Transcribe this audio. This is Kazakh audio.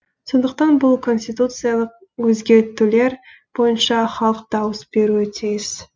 сондықтан бұл конституциялық өзгертулер бойынша халық дауыс беруі тиіс